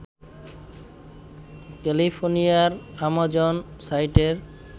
ক্যালিফোর্নিয়ার আমাজন সাইটের